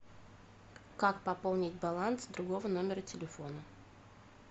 как пополнить баланс другого номера телефона